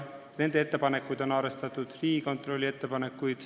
Nende ettepanekuid on arvestatud, samuti Riigikontrolli ettepanekuid.